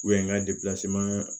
n ka